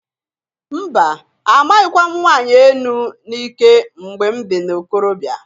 Mba! Amaghịkwa m nwanyị enu n'ike mgbe m dị na ikorobịa.